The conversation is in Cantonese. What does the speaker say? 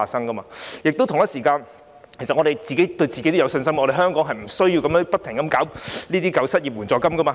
我們同時也要對自己有信心，香港並不需要長期推行失業援助金計劃。